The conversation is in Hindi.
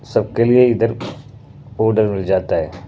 सबके लिए इधर पाउडर मिल जाता है।